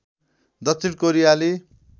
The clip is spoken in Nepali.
दक्षिण कोरियाली